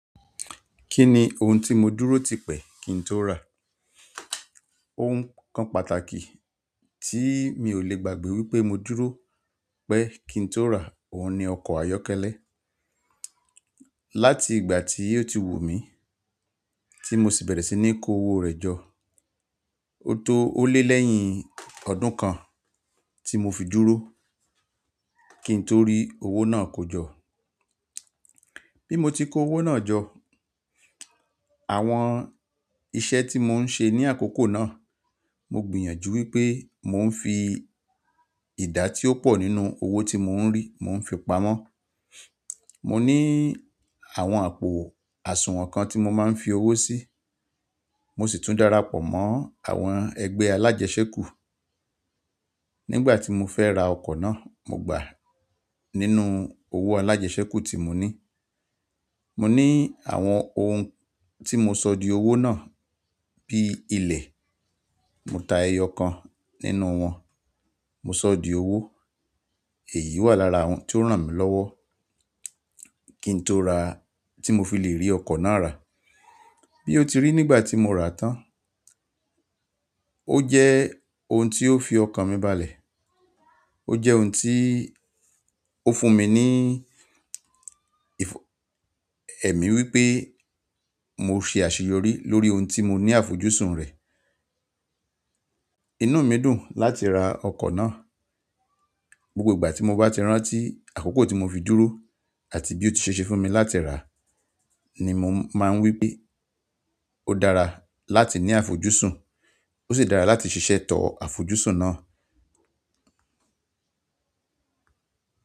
Kí ni ohun tí mo dúró tipẹ́ kí n tó rà? Ohun kan pàtàkì tí mi ò lè gbàgbé wípé mo dúró pé kí n tó rà òun ni ọkọ̀ ayọ́kẹ́lẹ́. Láti ìgbà tí o tí wù mí, tí mo sì bẹ̀rẹ̀ sí ní kó owó rẹ̀ jọ. Ó tó ó lé lẹ́yìn ọdún kan tí mo fi dúró kí n tó rí owó náà kó jọ. Bí mo ti kó owó náà jọ, àwọn iṣẹ́ tí mò ń ṣe ní àkókò náà, mo gbìyànjú wípé mò ń fi ìdá tí ó pọ̀ nínú owó tí mò ń rí mò ń fi pamọ́. Mo ní àwọn àpò àsùnwọ̀n kan tí mo máa ń fi owó sí, mo sì tún darapọ̀ mọ́ àwọn ẹgbẹ́ alájẹṣẹ́kù. Nígbà tí mo fẹ́ ra ọkọ̀ náà, mo gbà á nínú owó alájẹṣẹ́kù tí mo ní. Mo ní àwọn ohun tí mo sọ di owó náà bí ilẹ̀, mo ta ẹyọ kan nínú wọn, mo sọ di owó. Èyí wà lára àwọn tí ó ràn mí lọ́wọ́ kí n tó ra tí mo fi lè rí ọkọ̀ náà rà. Bí ó ti rí nígbà tí mo rà tán, ó jẹ́ ohun tí ó fi ọkàn mi balẹ̀. Ó jẹ́ ohun tí ó fún mi ní ẹ̀mí wípé mo ṣe àṣeyọrí lórí ohun tí mo ní àfojúsùn rẹ̀. Inú mi dùn láti ra ọkọ̀ náà. Gbogbo ìgbà tí mo bá ti rántí àkókò tí mo fi dúró àti bí ó ti ṣe ṣe fún mi láti rà á ni mo máa ń wípé ó dára láti ní àfojúsùn, ó sì dára láti ṣiṣẹ́tọ̀ àfojúsùn náà.